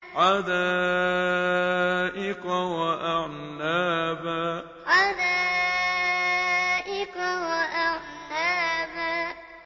حَدَائِقَ وَأَعْنَابًا حَدَائِقَ وَأَعْنَابًا